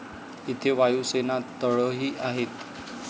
येथे वायुसेना तळही आहेत.